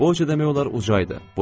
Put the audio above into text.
Boyca demək olar uca idi.